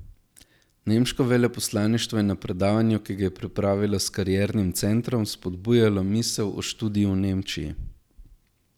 Nemško veleposlaništvo je na predavanju, ki ga je pripravilo s kariernim centrom, spodbujalo misel o študiju v Nemčiji.